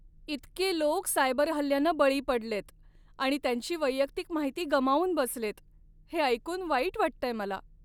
इतके लोक सायबर हल्ल्यांना बळी पडलेत आणि त्यांची वैयक्तिक माहिती गमावून बसलेत हे ऐकून वाईट वाटतंय मला.